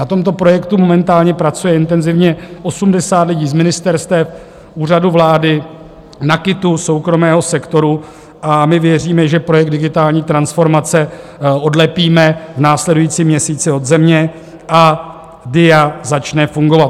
Na tomto projektu momentálně pracuje intenzivně 80 lidí z ministerstev, Úřadu vlády, NAKITu, soukromého sektoru a my věříme, že projekt digitální transformace odlepíme v následujícím měsíci od země a DIA začne fungovat.